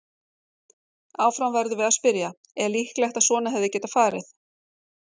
Áfram verðum við að spyrja: Er líklegt að svona hefði getað farið?